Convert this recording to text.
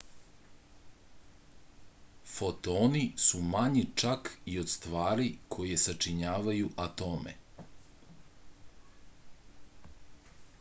fotoni su manji čak i od stvari koje sačinjavaju atome